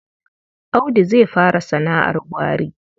Audu zai fara sana'ar gwari.